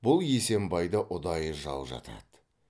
бұл есембайда ұдайы жау жатады